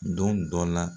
Don dɔ la